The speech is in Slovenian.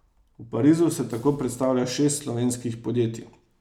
V Parizu se tako predstavlja šest slovenskih podjetij.